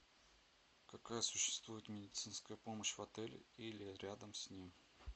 какая существует медицинская помощь в отеле или рядом с ним